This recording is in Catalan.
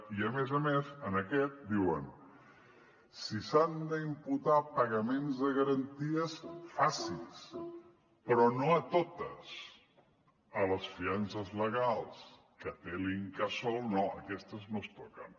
i a més a més en aquest diuen si s’han d’imputar pagaments de garanties faci’s però no a totes a les fiances legals que té l’incasòl no aquestes no es toquen